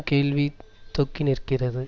கேள்வி தொக்கி நிற்கிறது